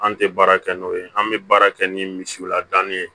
An tɛ baara kɛ n'o ye an bɛ baara kɛ ni misiw ladanni ye